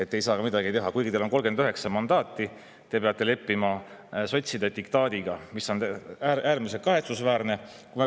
Te ei saa midagi teha, kuigi teil on 39 mandaati, te peate leppima sotside diktaadiga, mis on äärmiselt kahetsusväärne.